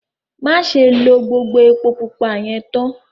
Màṣẹ̀ ló gbogbo èpò púpà yẹn táán!